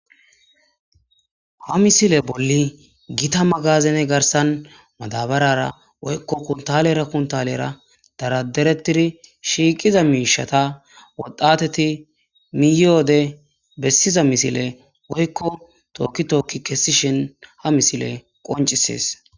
ha misile bolli gita magazene garsan madabarara woykko kuntalera kuntalera daraderetiri shiiqiza miishata woddateti miyode bessiza misile woykko tookki tookki kessishin ha misile qoncisies